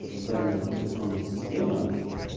созданием операционной системы